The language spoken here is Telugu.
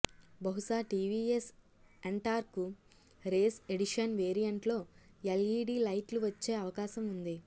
బహుశా టీవీఎస్ ఎన్టార్క్ రేస్ ఎడిషన్ వేరియంట్లో ఎల్ఈడీ లైట్లు వచ్చే అవకాశం ఉంది